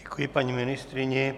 Děkuji paní ministryni.